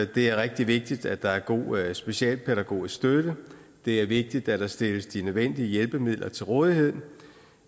det er rigtig vigtigt at der er en god specialpædagogisk støtte det er vigtigt at der stilles de nødvendige hjælpemidler til rådighed